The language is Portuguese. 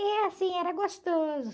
E é assim, era gostoso